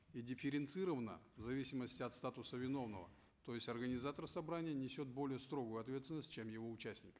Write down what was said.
и дифференцирована в зависимости от статуса виновного то есть организатор собраний несет более строгую ответственность чем его участник